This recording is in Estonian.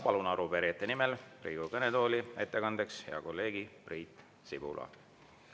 Palun arupärijate nimel Riigikogu kõnetooli ettekandeks hea kolleegi Priit Sibula.